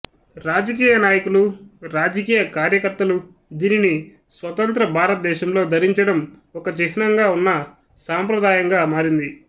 రాజకీయ నాయకులు రాజకీయ కార్యకర్తలు దీనిని స్వతంత్ర భారతదేశంలో ధరించడం ఒక చిహ్నంగా ఉన్న సాంప్రదాయంగా మారింది